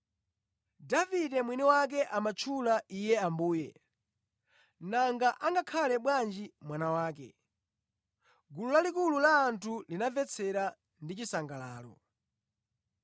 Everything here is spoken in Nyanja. Davide mwini wake amutchula Iye, ‘Ambuye.’ Nanga angakhale bwanji mwana wake?” Gulu lalikulu la anthu linamvetsera ndi chisangalalo.